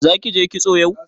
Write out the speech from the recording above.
Zaki je kitso yau?